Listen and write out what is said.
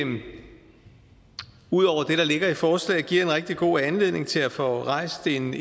ud over det der ligger i forslaget giver en rigtig god anledning til at få rejst en